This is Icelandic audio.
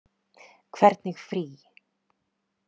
Hvernig frí.